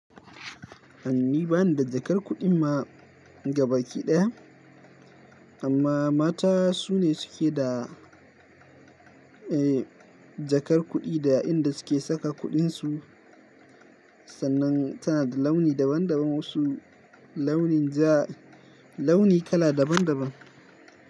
Ni bani da jakar kuɗin ma gaba kiɗaya, amma mata su ne suke da, eh jakar kuɗi da inda suke saka kuɗin su. Sannan tana da launi daban daban, wasu launin ja, launi kala daban daban.